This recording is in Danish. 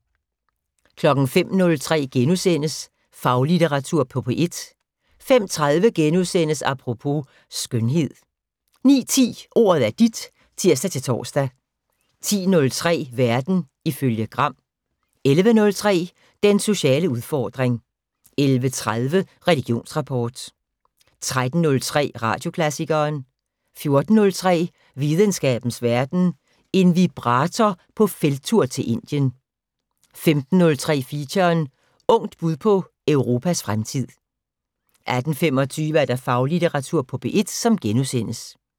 05:03: Faglitteratur på P1 * 05:30: Apropos - skønhed * 09:10: Ordet er dit (tir-tor) 10:03: Verden ifølge Gram 11:03: Den sociale udfordring 11:30: Religionsrapport 13:03: Radioklassikeren 14:03: Videnskabens Verden: En vibrator på felttur til Indien 15:03: Feature: Ungt bud på Europas fremtid 18:25: Faglitteratur på P1 *